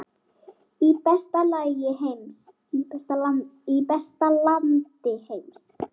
Í besta landi heims.